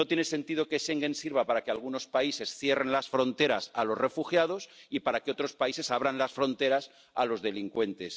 No tiene sentido que Schengen sirva para que algunos países cierren las fronteras a los refugiados y para que otros países abran las fronteras a los delincuentes.